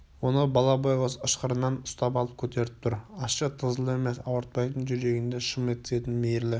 оны бала байғұс ышқырынан ұстап алып көтеріп тұр ащы тызыл емес ауыртпайтын жүрегіңді шым еткізетін мейірлі